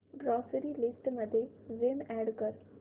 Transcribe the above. grocery list मध्ये Vim add कर